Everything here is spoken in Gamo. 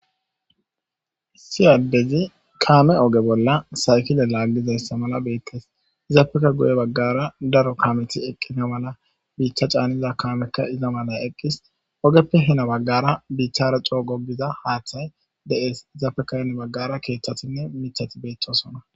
Issi adezi kame oge bola saykile lagizasa mala betes izappeka guye bagara daro kameti eqena mala bita c'aniza kameyka iza mala eqis ogepe Hina bagara bithara c'o gigiza hathay de'es izappeka hini bagara kethatine matati betosona.